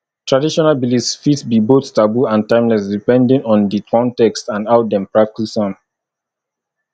traditional beliefs fit be both taboo and timeless depending on di context and how dem practice am